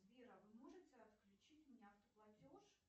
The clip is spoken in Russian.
сбер а вы можете отключить мне автоплатеж